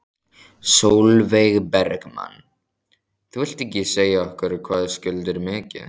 Sólveig Bergmann: Þú vilt ekki segja okkur hvað skuldir mikið?